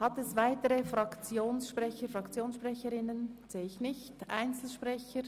– Nun gibt es weder weitere Fraktions- und noch Einzelsprecher.